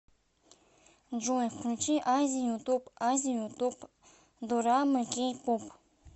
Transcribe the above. джой включи азию топ азию топ дорамы кей поп